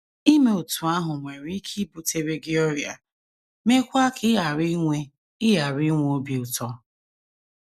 Ime otú ahụ nwere ike ibutere gị ọrịa, meekwa ka ị ghara inwe ị ghara inwe obi ụtọ.